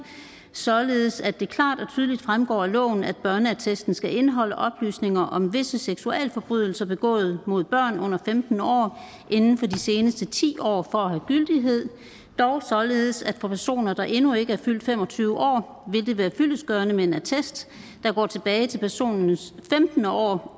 således at det klart og tydeligt fremgår af loven at børneattesten skal indeholde oplysninger om visse seksualforbrydelser begået mod børn under femten år inden for de seneste ti år for at have gyldighed dog således at for personer der endnu ikke er fyldt fem og tyve år vil det være fyldestgørende med en attest der går tilbage til personens femtende år